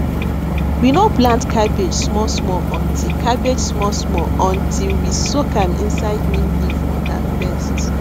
we no plant cabbage smallsmall until cabbage smallsmall until we soak am inside neem leaf water first